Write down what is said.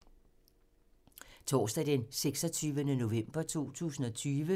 Torsdag d. 26. november 2020